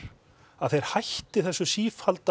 að þeir hætti þessu sífellda